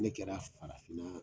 Ne kɛra farafinna